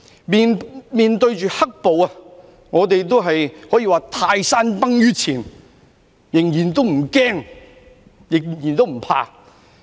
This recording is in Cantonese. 面對着"黑暴"，我們都可說是泰山崩於前仍然不驚，仍然不怕。